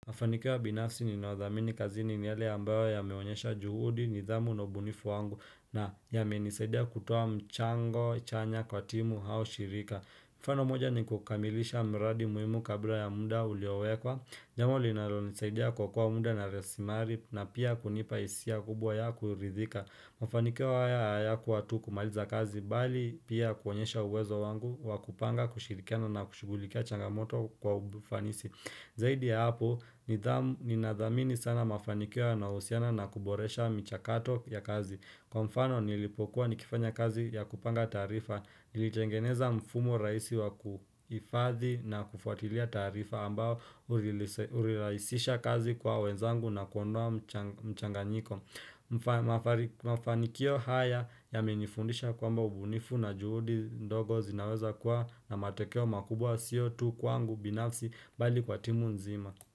Mafanikio ya binafsi ninaodhamini kazini ni yale ambayo yamewonyesha juhudi nidhamu na ubunifu wangu na yamenisaidia kutoa mchango chanya kwa timu hao shirika. Mfano moja ni kukamilisha miradi muhimu kabla ya muda uliowekwa. Jamo linalonisaidia kuokoa muda na rasimari na pia kunipa hisia kubwa ya kuridhika. Mafanikio haya hayakuwa tu kumaliza kazi bali pia kuonyesha uwezo wangu wa kupanga kushirikana na kushugulikia changamoto kwa ufanisi. Zaidi ya hapo, ninadhamini sana mafanikio yanayohusiana na kuboresha michakato ya kazi. Kwa mfano nilipokuwa nikifanya kazi ya kupanga taarifa, nilitengeneza mfumo raisi wa kuhifadhi na kufatilia taarifa ambao uriraisisha kazi kwa wenzangu na kuondoa mchanganyiko. Mafanikio haya yamenifundisha kwamba ubunifu na juhudi ndogo zinaweza kuwa na matekeo makubwa sio tu kwangu binafsi bali kwa timu nzima.